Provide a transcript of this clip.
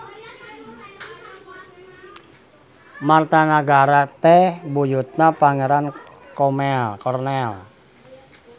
Martanagara teh buyutna Pangeran Kornel.